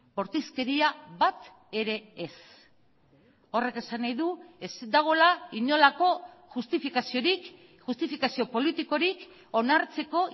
bortizkeria bat ere ez horrek esan nahi du ez dagoela inolako justifikaziorik justifikazio politikorik onartzeko